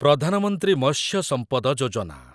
Pradhan Mantri Matsya Sampada Yojana